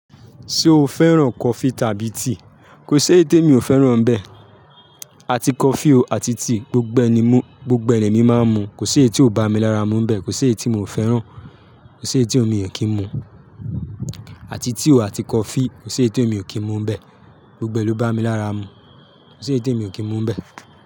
Ṣé o fẹ́ràn coffee tàbí tea? Kò si èyi té mi ò fẹ́ràn bẹ. Àti coffee o àti tea, gbogbo ẹ ni èmi máa ń mu. Kò si èyi tí o bá mi lára mú bẹ. Kò si èyi tí mi ò fẹ́ràn. Kò si èyi tí mi ò kí ń mu. Àti tea o àti coffee, kò sé è tí mi ò kí ń mu ń bẹ. Gbogbo è ló bá mi lára mú. Kò sé è tí mi ò kí ń mu ń bẹ.